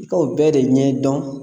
I ka o bɛɛ de ɲɛdɔn